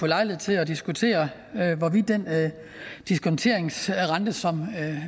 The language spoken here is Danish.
lejlighed til at diskutere hvorvidt den diskonteringsrente som